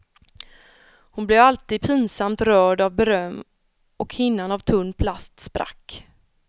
Hon blev alltid pinsamt rörd av beröm och hinnan av tunn plast sprack.